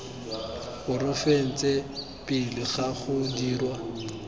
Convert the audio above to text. porofense pele ga go dirwa